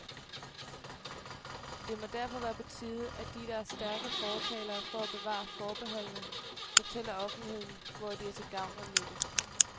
Det må derfor være på tide, at de, der er stærke fortalere for at bevare forbeholdene, fortæller offentligheden, hvor de er til gavn og nytte.